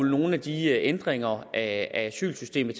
nogle af de ændringer af asylsystemet